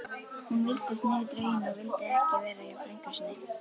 Hún virtist niðurdregin og vildi ekki vera hjá frænku sinni.